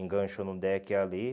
Enganchou no deck ali.